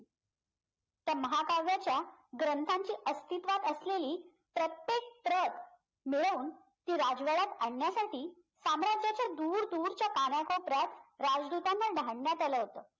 त्या महाकाव्याच्या ग्रंथांची अस्तित्वात असलेली प्रत्येक प्रत मिळवून ती राजवाड्यात आणण्यासाठी साम्राज्याच्या दूरदूरच्या कानाकोपऱ्यात राजदूतांना आलं होतं